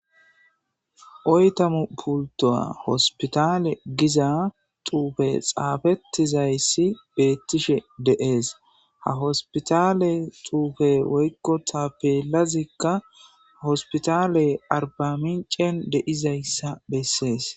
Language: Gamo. Oytamu pultoa hospitale giza tuufe xaafettizayssi beettishe deees ha hospitale tuufe woykko ta pelazikka ha hospitale arbamincen deizayssa bessees.